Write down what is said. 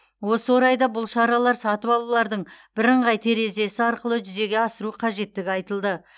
осы орайда бұл шаралар сатып алулардың бірыңғай терезесі арқылы жүзеге асыру қажеттігі айтылды